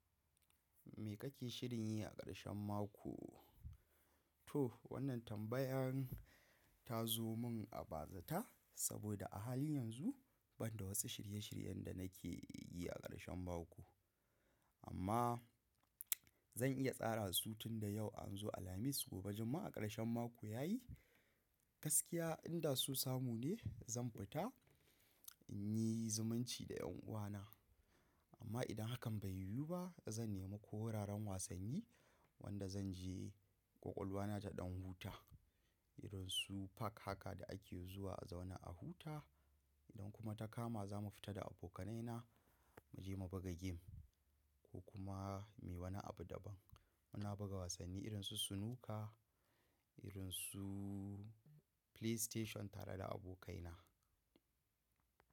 Me kake shirin yi a ƙarshen mako? To wannan tambayan ta zo mun a bazata saboda a halin yanzu banda wasu shirye-shiryen da nake yi a ƙarshen mako. Amma zan iya tsara su tun da yau an zo Alhamis gobe Juma'a a ƙarshen mako ya yi. Gaskiya idan so samu ne zan fita in yi zumunci da yan uwana. Amma idan hakan bai yiwu ba zan nema ko wuraren wasanni wanda zan je ƙwaƙwalwana ta ɗan huta irin su park haka da ake zuwa a zauna a huta. Idan kuma ta kama za mu fita da abokanaina mu je mu buga game ko kuma muyi wani abu daban. Muna buga wasanni irin su snuka, irin su play station tare da abokaina.